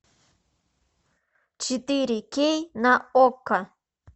четыре кей на окко